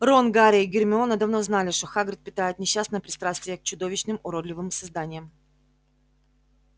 рон гарри и гермиона давно знали что хагрид питает несчастное пристрастие к чудовищным уродливым созданиям